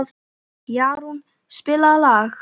Jarún, spilaðu lag.